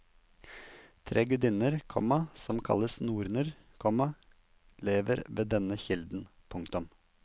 Tre gudinner, komma som kalles norner, komma lever ved denne kilden. punktum